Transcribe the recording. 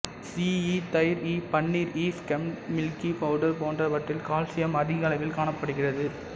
சீஸ்இ தயிர்இ பன்னீர்இ skimmed milk powder போன்றவற்றில் கால்சியம் அதிக அளவில் காணப்படுகிறது